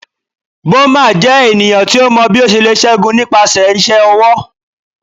Boma jẹ eniyan ti o mọ bi o ṣe le ṣẹgun nipasẹ iṣẹ ọwọ